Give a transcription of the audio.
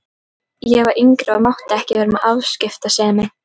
Ég var yngri og mátti ekki vera með afskiptasemi.